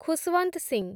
Khushwant Singh